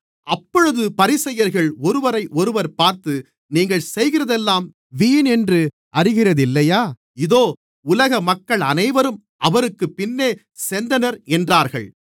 அப்பொழுது பரிசேயர்கள் ஒருவரையொருவர் பார்த்து நீங்கள் செய்கிறதெல்லாம் வீணென்று அறிகிறதில்லையா இதோ உலக மக்கள் அனைவரும் அவருக்குப் பின்னே சென்றனர் என்றார்கள்